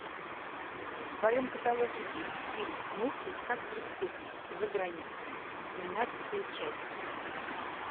в твоем каталоге есть фильм мыслить как преступник за границей тринадцатая часть